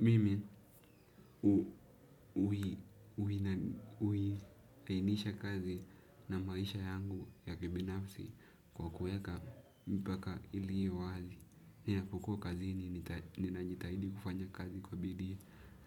Mimi hulainisha kazi na maisha yangu ya kibinafsi kwa kuweka mipaka ili iwe wazi. Nia ya kukua kazini nina jitahidi kufanya kazi kwa bidii